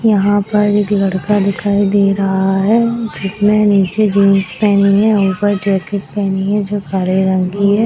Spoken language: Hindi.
यहाँ पर एक लड़का दिखाई दे रहा है जिसने नीचे जीन्स पहनी है और ऊपर जैकेट पहनी है जो हरे रंग की है।